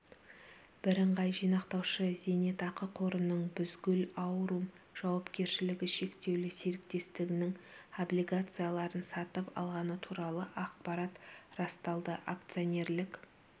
бірыңғай жинақтаушы зейнетақы қорының бузгул аурум жауапкершілігі шектеулі серіктестігінің облигацияларын сатып алғаны туралы ақпарат расталды акционнерлік